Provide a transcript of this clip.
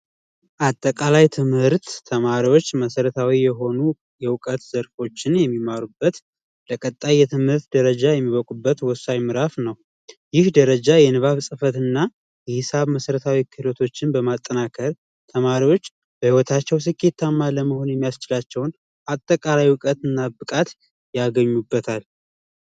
አጠቃላይ ትምህርት ተማሪዎች መሰረታዊ የሆኑ የዕውቀት ዘርፎችን የሚማሩበት ለቀጣይ የትምህርት ደረጃ የሚበቁበት ወሳኝ ምዕራፍ ነው ይህ ደረጃ የንባብ የጽፈት እና የተለያዩ መሰረታዊ ሁኔታዎችን በማጠናከር በህይወታቸው ስኬታማ መሆን የሚያስችላቸውን አጠቃላይ እውቀት እና ብቃት ያገኙበታል።